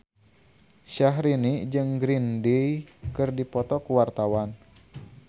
Syahrini jeung Green Day keur dipoto ku wartawan